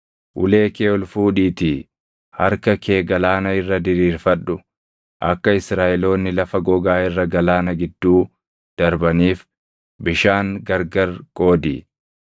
Ulee kee ol fuudhiitii harka kee galaana irra diriirfadhu; akka Israaʼeloonni lafa gogaa irra galaana gidduu darbaniif bishaan gargari qoodi.